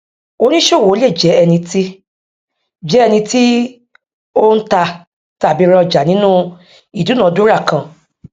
oníṣòwò le jẹ ẹni tí jẹ ẹni tí o n ta tàbí rá ọjà nínú idunadura kan